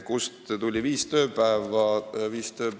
Kust tuli see viis tööpäeva?